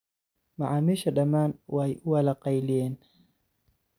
Macamisha dhamaan wai uwala kayliyeen.